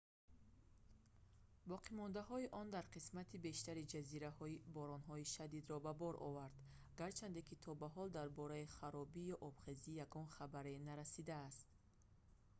боқимондаҳои он дар қисмати бештари ҷазираҳо боронҳои шадидро ба бор овард гарчанде то ба ҳол дар бораи харобӣ ё обхезӣ ягон хабаре нарасидааст